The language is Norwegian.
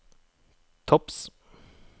topps